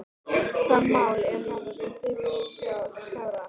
Hvaða mál eru þetta sem þið viljið sjá klárast?